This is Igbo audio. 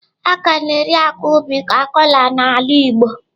A ka na-eri akwa ubi ka kola n'ala Igbo.